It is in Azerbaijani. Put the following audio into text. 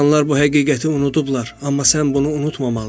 İnsanlar bu həqiqəti unudublar, amma sən bunu unutmamalısan.